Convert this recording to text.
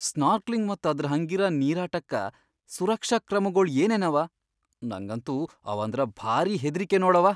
Snorkelling ಮತ್ ಅದ್ರಹಂಗಿರ ನೀರಾಟಕ್ಕ ಸುರಕ್ಷಾ ಕ್ರಮಗೊಳ್ ಏನೇನವ? ನಂಗಂತೂ ಅವಂದ್ರ ಭಾರೀ ಹೆದ್ರಿಕಿ ನೋಡವಾ.